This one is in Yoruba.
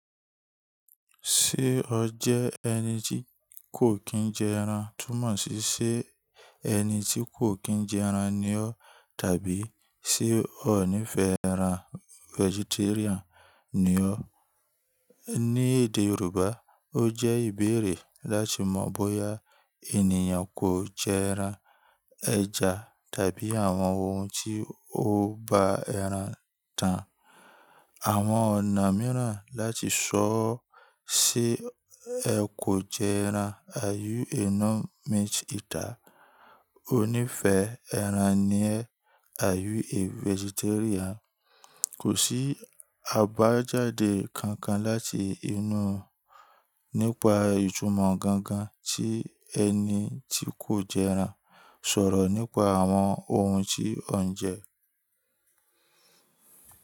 Ṣé ọ jẹ́ ẹni tí kò kí ń jẹ ẹran? Túnmọ̀ sí ṣé ẹni tí kò kí ń jẹ ẹran ni ọ́? Tàbí ṣé o nífẹ̀ẹ́ ẹran vegetarian ni ọ́? Ní èdè Yorùbá, ó jẹ́ ìbéèrè láti mọ̀ bóyá ènìyàn kò jẹ ẹran, ẹja tàbí àwọn ohun tí ó ba ẹran tán. Àwọn ọ̀nà mìíràn láti sọọ́, ṣé ẹ kò jẹ ẹran, Are you a non meat eater? Ọ níìfẹ́ ẹran ni ẹ́, Are you a vegetarian? Kò sí àbájáde kankan láti inú nípa ìtumọ̀ gangan tí ẹni tí kò jẹ ẹran sọ̀rọ̀ nípa àwọn ohun tí ọ ń jẹ.